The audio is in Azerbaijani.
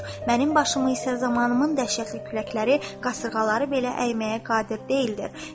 Mənim başımı isə zamanımın dəhşətli küləkləri, qasırğaları belə əyməyə qadir deyildir.